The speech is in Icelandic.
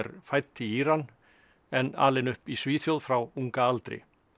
fædd í Íran en alin upp í Svíþjóð frá unga aldri